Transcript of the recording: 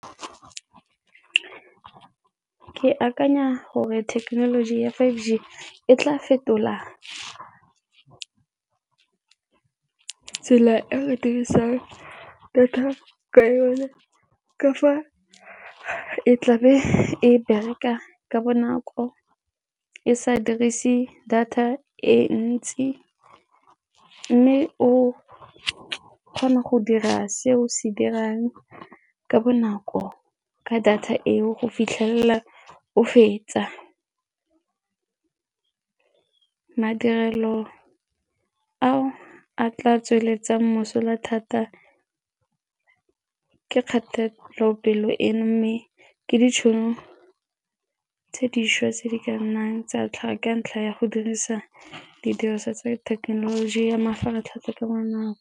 Ke akanya gore thekenoloji ya five G e tla fetola tsela e re dirisang data ka yone ka fa e tlabe e bereka ka bonako e sa dirise data e ntsi mme o kgona go dira seo se dirang ka bonako ka data eo go fitlhelela o fetsa. Madirelo a a tla tsweletsa mosola thata ke kgatelopele eno mme ke ditšhono tse dišwa tse di ka nnang tsa tlhago ka ntlha ya go dirisa didiriswa tsa thekenoloji ya mafaratlhatlha ka bonako.